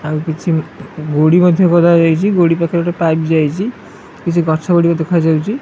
ଆଉ କିଛି ଗୁଡ଼ି ମଧ୍ୟ ଗଦା ଯାଇଚି ଗୁଡ଼ି ପଖେରେ ଗୋଟେ ପାଇପ୍ ଯାଇଚି କିଛି ଗଛ ଗୁଡ଼ିକ ଦେଖାଯାଉଚି ।